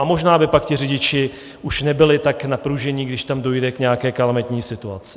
A možná by pak ti řidiči už nebyli tak napružení, když tam dojde k nějaké kalamitní situaci.